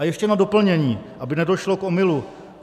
A ještě na doplnění, aby nedošlo k omylu.